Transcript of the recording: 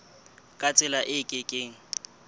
ka tsela e ke keng